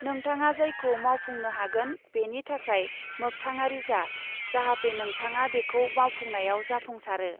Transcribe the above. नोंथाङा जायखौ मावफुंनो हागोन बेनि थाखाय मोख्थांआरि जा, जाहते नोंथाङा बेखौ मावफुंनायाव जाफुंसारो।